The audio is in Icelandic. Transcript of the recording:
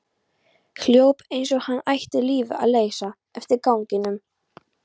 Hljóp eins og hann ætti lífið að leysa eftir ganginum.